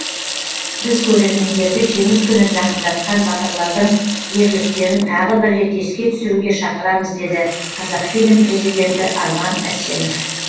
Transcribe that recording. біз көрермендерді жеңіс күнін жақындатқан батырлардың ерліктерін тағы бір рет еске түсіруге шақырамыз деді қазақфильм президенті арман әсенов